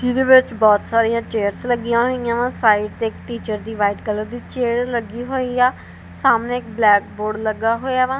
ਇਹਦੇ ਵਿੱਚ ਬਹੁਤ ਸਾਰੀਆਂ ਚੇਅਰਜ਼ ਲੱਗੀਆਂ ਹੋਈਆਂ ਵਾ ਸਾਈਡ ਤੇ ਟੀਚਰ ਦੀ ਵਾਈਟ ਕਲਰ ਦੀ ਚੇਅਰ ਲੱਗੀ ਹੋਈ ਆ ਸਾਹਮਣੇ ਬਲੈਕ ਬੋਰਡ ਲੱਗਾ ਹੋਇਆ ਵਾਂ।